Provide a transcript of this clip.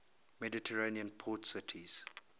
mediterranean port cities